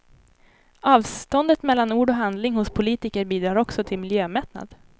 Avståndet mellan ord och handling hos politiker bidrar också till miljömättnad.